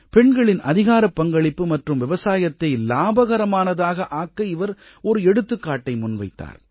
பெண்களின் அதிகாரப்பங்களிப்பு மற்றும் விவசாயத்தை இலாபகரமானதாக ஆக்க இவர் ஒரு எடுத்துக்காட்டை முன்வைத்தார்